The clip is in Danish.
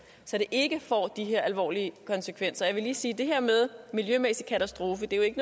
så det ikke får de her alvorlige konsekvenser jeg vil lige sige at det her med en miljømæssig katastrofe jo ikke